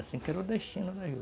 É assim que era o destino da juta.